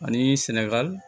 Ani sɛnɛgali